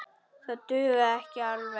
Það dugði ekki alveg.